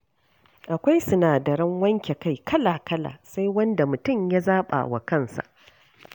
Akwai sinadaran wanke kai kala-kala—sai wanda mutum ya zaɓa wa kansa.